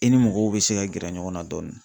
I ni mɔgɔw bɛ se ka gɛrɛ ɲɔgɔn na dɔɔni.